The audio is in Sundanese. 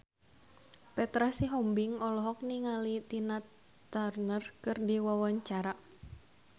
Petra Sihombing olohok ningali Tina Turner keur diwawancara